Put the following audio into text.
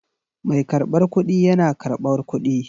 Mai karbar kuɗi yana karɓar kuɗi.